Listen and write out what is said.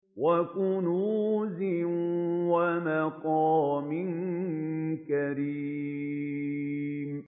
وَكُنُوزٍ وَمَقَامٍ كَرِيمٍ